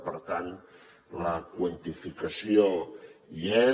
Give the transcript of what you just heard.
per tant la quantificació hi és